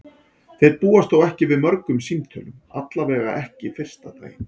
Þeir búast þó ekki við mörgum símtölum, allavega ekki fyrsta daginn.